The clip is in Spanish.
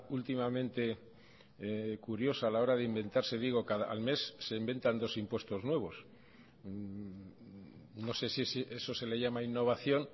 últimamente curiosa a la hora de inventarse digo al mes se inventan dos impuestos nuevos no sé si eso se le llama innovación